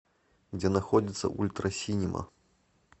где находится ультра синема